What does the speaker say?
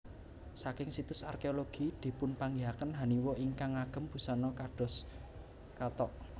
Saking situs arkeologi dipunpanggihaken haniwa ingkang ngagem busana kados kathok